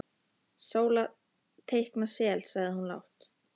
Sóla teikna sel, sagði hún lágt.